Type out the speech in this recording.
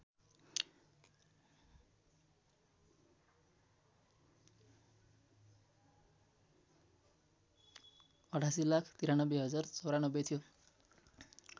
८८९३०९४ थियो